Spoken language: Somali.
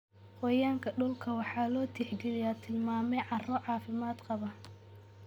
Gooryaanka dhulka waxa loo tixgaliyaa tilmaame carro caafimaad qaba.